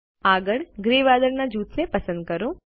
આગળ ગ્રે વાદળ જૂથને પસંદ કરો